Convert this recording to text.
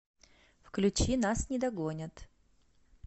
включи нас не догонят